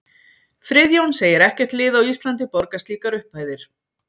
Friðjón segir ekkert lið á Íslandi borga slíkar upphæðir.